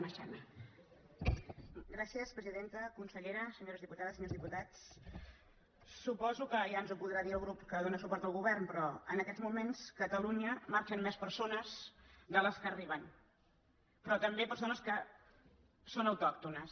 consellera senyores diputades senyors diputats suposo que ja ens ho podrà dir el grup que dóna suport al govern però en aquests mo·ments a catalunya marxen més persones de les que arriben però també persones que són autòctones